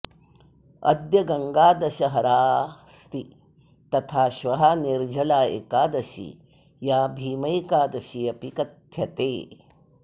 अद्य गङ्गादशहरास्ति तथा श्वः निर्जला एकादशी या भीमैकादशी अपि कथ्यते